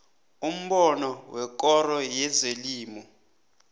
umbono wekoro yezelimo